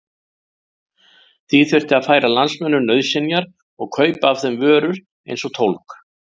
Því þyrfti að færa landsmönnum nauðsynjar og kaupa af þeim vörur eins og tólg.